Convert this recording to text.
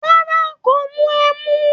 Rárá, kò mu ẹmu